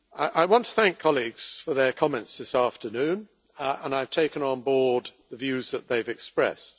I want to thank colleagues for their comments this afternoon and I have taken on board the views that they have expressed.